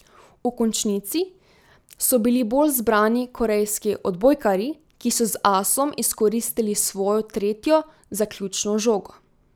V končnici so bili bolj zbrani korejski odbojkarji, ki so z asom izkoristili svojo tretjo zaključno žogo.